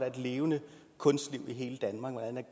et levende kunstliv i hele danmark og hvordan